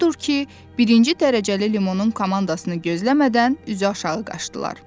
Odur ki, birinci dərəcəli Limonun komandasını gözləmədən üzü aşağı qaçdılar.